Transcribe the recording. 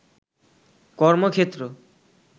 কর্মক্ষেত্র